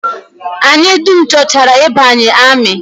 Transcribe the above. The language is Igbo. Anyị dum chọchara ịbanye amị